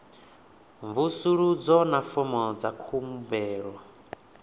mvusuludzo na fomo dza khumbelo